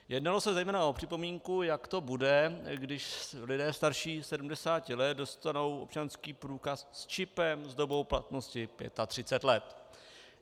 Jednalo se zejména o připomínku, jak to bude, když lidé starší 70 let dostanou občanský průkaz s čipem s dobou platnosti 35 let.